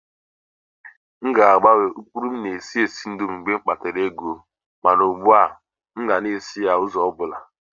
M ga-agbanwe ụkpụrụ m na-esi esi indomie mgbe m nwetara ego. Ma ugbu a, m ga-esi ya n'ụzọ ọ bụla.